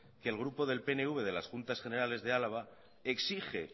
que el grupo del pnv de las juntas generales de álava exige